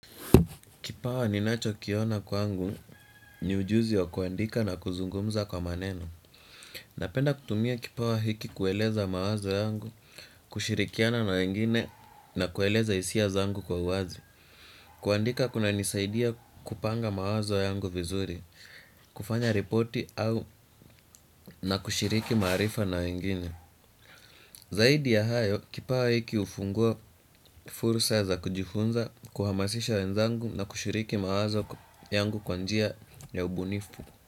Kipawa ninachokiona kwangu ni ujuzi wa kuandika na kuzungumza kwa maneno. Napenda kutumia kipawa hiki kueleza mawazo yangu, kushirikiana na wengine na kueleza hisia zangu kwa wazi. Kuandika kunanisaidia kupanga mawazo yangu vizuri, kufanya ripoti au na kushiriki maarifa na wengine. Zaidi ya hayo, kipawa hiki hufungua fursa za kujifunza, kuhamasisha wenzangu na kushiriki mawazo yangu kwa njia ya ubunifu.